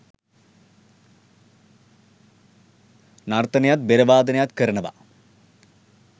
නර්තනයත් බෙර වාදනයත් කරනවා